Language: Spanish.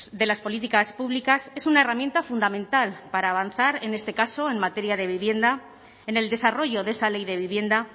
de las políticas públicas es una herramienta fundamental para avanzar en este caso en materia de vivienda en el desarrollo de esa ley de vivienda